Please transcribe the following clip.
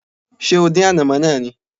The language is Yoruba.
Ṣé o dín ànàmọ́ náà ni?